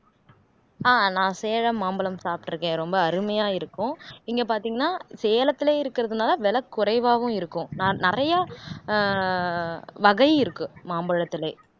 ஆஹ் நான் சேலம் மாம்பழம் சாப்பிட்டிருக்கேன் ரொம்ப அருமையா இருக்கும் இங்கே பார்த்தீங்கன்னா சேலத்திலேயே இருக்கிறதுனாலே விலை குறைவாவும் இருக்கும் நான் நிறையா அஹ் வகை இருக்கு மாம்பழத்திலே